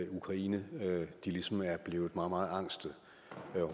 ukraine ligesom er blevet meget meget angste og